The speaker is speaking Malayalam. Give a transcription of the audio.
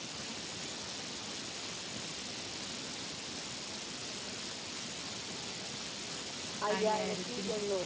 അയ്യായിരത്തി മുന്നൂറ്.